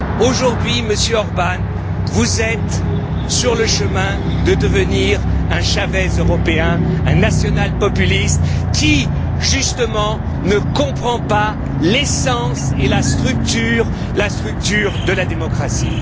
Aujourd'hui, Monsieur Orbán, vous êtes sur le chemin de devenir un Chavez européen, un national populiste qui, justement, ne comprend pas l'essence et la structure de la démocratie.